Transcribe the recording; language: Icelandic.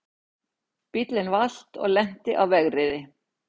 Bíllinn valt og lenti á vegriði